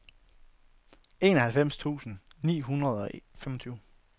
enoghalvfems tusind ni hundrede og femogtyve